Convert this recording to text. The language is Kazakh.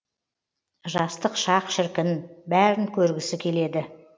жастық шақ шіркін бәрін көргісі келеді